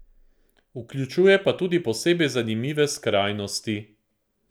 Vključuje pa tudi posebej zanimive skrajnosti.